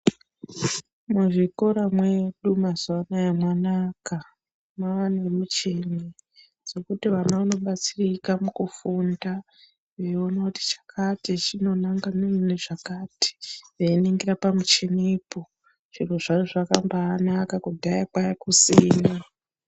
Muzvikora mwedu mazuwa anaya mwanaka. mwava nemichini, dzekuti vana vanobatsirika mukufunda, veiona kuti chakati chinonangana nezvakati, veiningira pamuchinipo. Chero zvazvo zvakabaanaka ,kudhaya kwanga kusina.